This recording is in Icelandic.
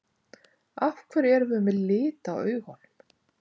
Af hverju erum við með lit á augunum?